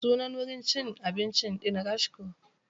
Sunan wurin cin abincin ɗin Rashko.